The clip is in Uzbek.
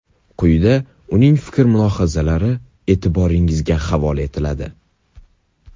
Quyida uning fikr-mulohazalari e’tiboringizga havola etiladi.